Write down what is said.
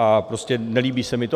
A prostě nelíbí se mi to.